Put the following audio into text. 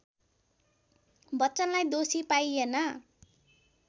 बच्चनलाई दोषी पाइएन